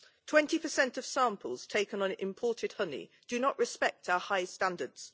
Twenty percent of samples taken on imported honey do not respect our high standards.